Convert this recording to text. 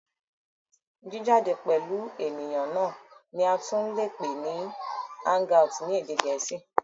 Jìjáde pẹ̀lú ènìyàn náà ni a tún lè pè ní hang out ni èdè gẹ̀ẹ́sì.